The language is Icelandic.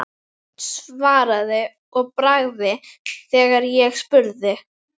Bakist í vinalegu umhverfi og eins lengi og þurfa þykir.